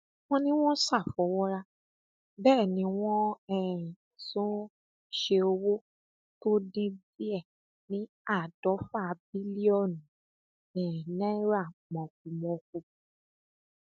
wọn ní wọn ṣàfọwọrá bẹẹ ni wọn um tún ṣe owó tó dín díẹ ní àádọfà bílíọnù um náírà mọkùmọkù